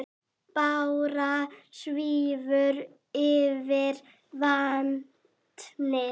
Bára svífur yfir vatnið.